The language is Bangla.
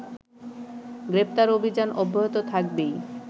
গ্রেফতার অভিযান অব্যাহত থাকবেই